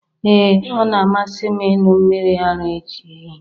Ee ọ na-amasị m ịṅụ mmiri ara ehi